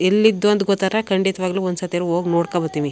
ಎಲ್ಲಿದ್ದು ಅಂತ ಗೊತ್ತಾದ್ರೆ ಖಂಡಿತವಾಗಲೂ ಒಂದು ಸರ್ತಿಯಾದ್ರು ಹೋಗಿ ನೋಡ್ಕಂಡ್ ಬರ್ತೀವಿ.